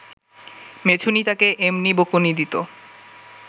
মেছুনী তাকে এমনি বকুনি দিত